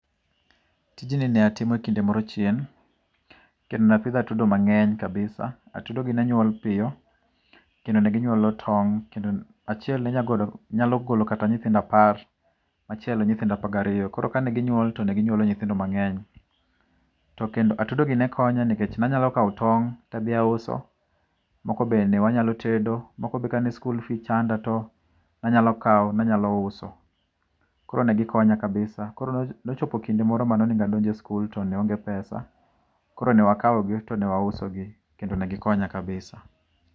Tijni ne atimo e kinde moro chien, kendo ne apidho atudo mangény kabisa. Atudo gi ne nywol piyo, kendo ne ginywolo tong', kendo achiel ne nyalogolo, nyalogolo kata nyithindo apar, machielo nyithindo apar gi ariyo. Koro kaneginywol, to neginywolo nyithindo mangény. To kendo atudo gi nekonya, nikech ne anyalo kawo tong', to adhi auso, moko bende ne wanyalo tedo, moko bende kane skul fee chanda to ne anyalo kawo, ne anyalo uso. Koro ne gikonya kabisa. Koro ne ochopo kinde moro mane onego adonje skul to ne aonge pesa, koro ne wakawo gi, to ne wauso gi, kendo ne gikonya kabisa.